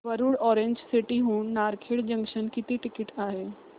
Warud orange city हून Narkhed junction किती ticket आहे